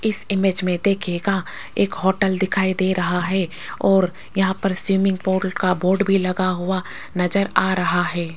इस इमेज में देखिएगा एक होटल दिखाई दे रहा है और यहां पर स्विमिंग का बोर्ड भी लगा हुआ नजर आ रहा है।